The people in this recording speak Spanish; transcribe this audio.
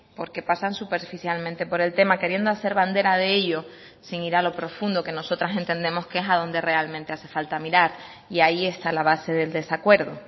porque pasan superficialmente por el tema queriendo hacer bandera de ello sin ir a lo profundo que nosotras entendemos que es a donde realmente hace falta mirar y ahí está la base del desacuerdo